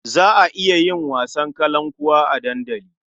Za a iya yin wasan kalankuwa a dandali.